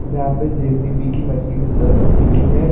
जहाँ पे जे.सी.बी. की मशीन रखी हुई है।